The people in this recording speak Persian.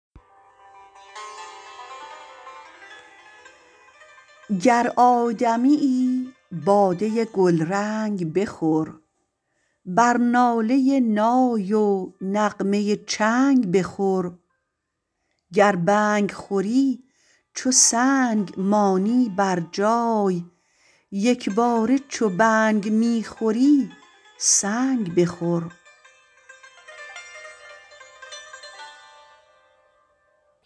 گر آدمیی باده گلرنگ بخور بر ناله نای و نغمه چنگ بخور گر بنگ خوری چو سنگ مانی بر جای یکباره چو بنگ می خوری سنگ بخور